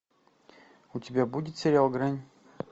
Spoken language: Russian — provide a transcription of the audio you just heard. у тебя будет сериал грань